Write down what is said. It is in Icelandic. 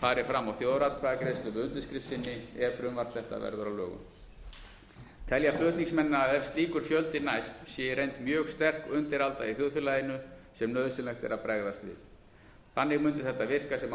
fari fram á þjóðaratkvæðagreiðslu með undirskrift sinni ef frumvarp þetta verður að lögum telja flutningsmenn að ef slíkur fjöldi næst sé í reynd mjög sterk undiralda í þjóðfélaginu sem nauðsynlegt er að bregðast við þannig mundi þetta virka sem